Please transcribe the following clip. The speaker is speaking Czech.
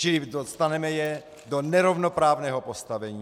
Čili dostaneme je do nerovnoprávného postavení.